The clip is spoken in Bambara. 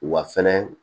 Wa fɛnɛ